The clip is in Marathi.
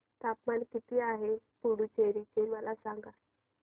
तापमान किती आहे पुडुचेरी चे मला सांगा